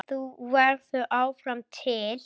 Þú verður áfram til.